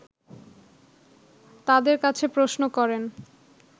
তাদের কাছে প্রশ্ন করেন